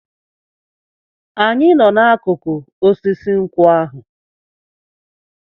Anyị nọ n'akụkụ osisi nkwụ ahụ.